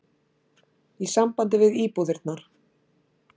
í sambandi við íbúðirnar.